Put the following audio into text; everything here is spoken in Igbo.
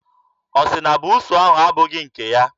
Ọ sị na buusu ahụ abụghị nke ya.